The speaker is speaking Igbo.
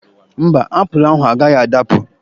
Mba, apụlụ ahụ agaghị adapụ.